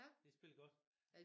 De spillede godt